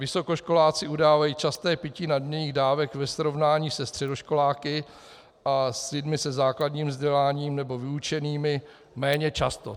Vysokoškoláci udávají časté pití nadměrných dávek ve srovnání se středoškoláky a s lidmi se základním vzděláním nebo vyučenými méně často.